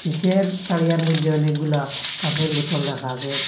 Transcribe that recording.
তারিয়ার মদ্যে অনেকগুলা কাঁচের বোতল রাখা আসে।